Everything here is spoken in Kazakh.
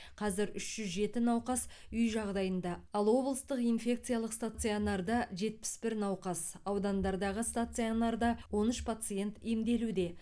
қазір үш жүз жеті науқас үй жағдайында ал облыстық инфекциялық стационарда жетпіс бір науқас аудандардағы стационарда он үш пациент емделуде